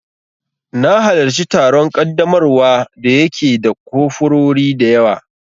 Na halarci taron ƙaddamarwa da ya ke da kofurori dayawa